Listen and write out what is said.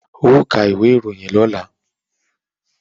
Ó ka ìwé ìròyìn lọ́la!